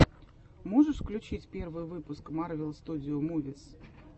можешь включить первый выпуск марвел студио мувис